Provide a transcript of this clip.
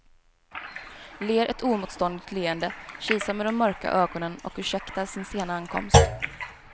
Ler ett oemotståndligt leende, kisar med de mörka ögonen och ursäktar sin sena ankomst.